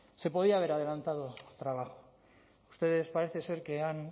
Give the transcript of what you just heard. se podía haber adelantado trabajo ustedes parece ser que han